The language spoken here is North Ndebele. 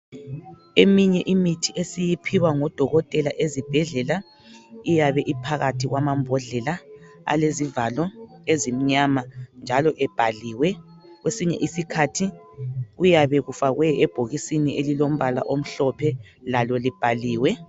Eminye imithi esiyiphiwa ngodokotela ezibhedlela iyabe iphakathi kwamambodlela alezivalo ezimnyama njalo ebhaliwe kwesinye isikhathi kuyabe kufakwe ebhokisini ilombala omhlophe lalo libhaliwe.